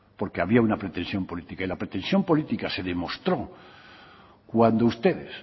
porque había una pretensión política y la pretensión política se demostró cuando ustedes